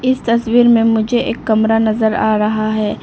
इस तस्वीर में मुझे एक कमरा नजर आ रहा है।